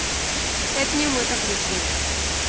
это не мы так решили